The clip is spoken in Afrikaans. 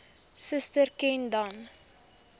suster ken dan